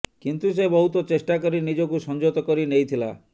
କିନ୍ତୁ ସେ ବହୁତ ଚେଷ୍ଟା କରି ନିଜକୁ ସଂଯତ କରି ନେଇଥିଲା